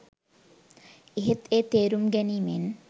එහෙත් ඒ තෙරුම් ගැනීමෙන්